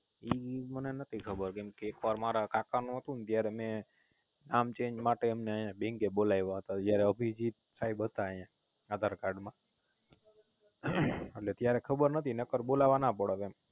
ઈ મને નોતી ખબર કેમ કે એક વાર મારા કાકા નું હતું ત્તયારે મેં નામ Change માટે એમેને આયા Bank બોલાયવા તા જયારે અભિજીત સાયબ હતા આયા Aadhar card માં એટલે ત્યારે ખબર નોતી નકાર બોલવા ના પડત એમ